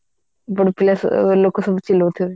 ଲୋକ ସବୁ ଚିଲଉଥିବେ